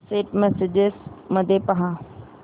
Saint messages मध्ये पहा